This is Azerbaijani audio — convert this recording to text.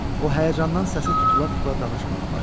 O həyəcandan səsi tutula-tutula danışmağa başlayırdı.